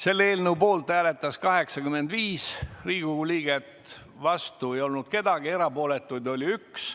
Selle eelnõu poolt hääletas 85 Riigikogu liiget, vastu ei olnud kedagi, erapooletuid oli üks.